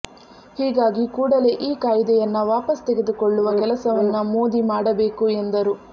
ಹೀಗಾಗಿ ಕೂಡಲೇ ಈ ಕಾಯ್ದೆಯನ್ನ ವಾಪಸ್ ತೆಗೆದುಕೊಳ್ಳುವ ಕೆಲಸವನ್ನ ಮೋದಿ ಮಾಡಬೇಕು ಎಂದರು